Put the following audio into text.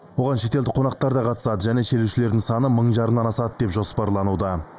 оған шетелдік қонақтар да қатысады және шерушілердің саны мың жарымнан асады деп жоспарлануда